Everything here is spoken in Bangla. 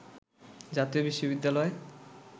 জাতীয় বিশ্ববিদ্যালয়